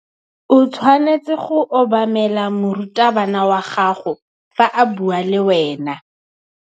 O tshwanetse go obamela morutabana wa gago fa a bua le wena.